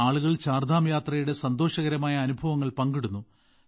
ആളുകൾ ചാർധാം യാത്രയുടെ സന്തോഷകരമായ അനുഭവങ്ങൾ പങ്കിടുന്നു